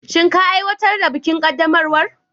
Shin ka aiwatar da bikin qaddamarwa?